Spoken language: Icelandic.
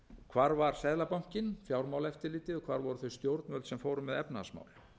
hvar var seðlabankinn fjármálaeftirlitið hvar voru þau stjórnvöld sem fóru með efnahagsmál